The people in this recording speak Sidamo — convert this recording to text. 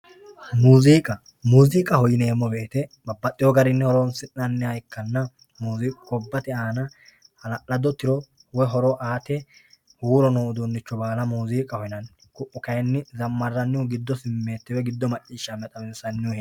Muuziiqa muuziiqaho yineemmo woyte baxxewo garinni horonsi'nanniha ikkanna muziiqu gobbate aana hala'lado tiro aate huuro no uduunnicho baala muuziqaho yinanni, kayiinni zammarannihu giddosi simmeette maccishshame xawissanni